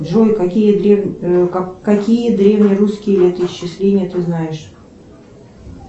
джой какие древнерусские летоисчисления ты знаешь